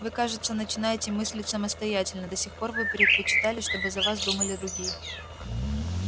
вы кажется начинаете мыслить самостоятельно до сих пор вы предпочитали чтобы за вас думали другие